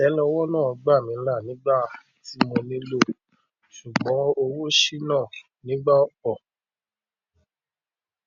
àtẹlẹwọ náà gbà mí là nígbà tí mo nílò ṣùgbọn ówo ṣìnà nígbà opọ